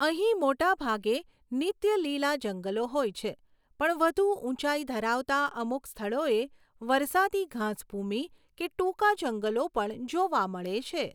અહીં મોટા ભાગે નીત્ય લીલા જંગલો હોય છે પણ વધુ ઊંચાઈ ધરાવતાં અમુક સ્થળોએ વરસાદી ઘાસભૂમિ કે ટૂંકા જંગલો પણ જોવા મળે છે.